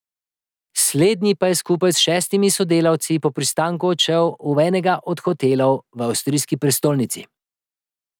Slednji pa je skupaj s šestimi sodelavci po pristanku odšel v enega od hotelov v avstrijski prestolnici.